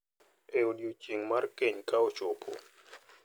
E odiechieng’ mar keny ka ochopo,